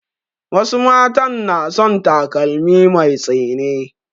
Wasu matan na son takalmi mai tsini